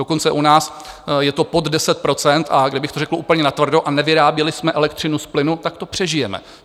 Dokonce u nás je to pod 10 %, a kdybych to řekl úplně natvrdo a nevyráběli jsme elektřinu z plynu, tak to přežijeme.